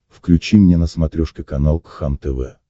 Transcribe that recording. включи мне на смотрешке канал кхлм тв